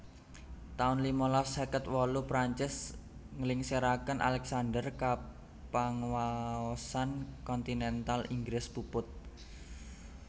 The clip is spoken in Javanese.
taun limalas seket wolu Perancis nglingsiraken Alexander kapanguwaosan kontinental Inggris puput